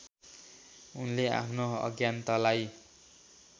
उनले आफ्नो अज्ञानतालाई